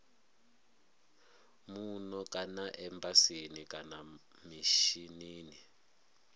muno kana embasini kana mishinini